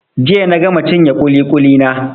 Jiya na gama cinye ƙuli-ƙuli na.